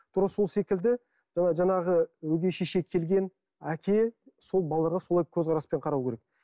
тура сол секілді ы жаңағы өгей шеше келген әке сол балаларға солай көзқараспен қарау керек